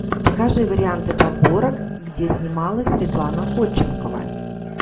покажи варианты подборок где снималась светлана ходченкова